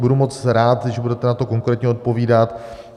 Budu moc rád, když budete na to konkrétně odpovídat.